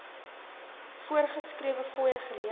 voorgeskrewe fooie gelewer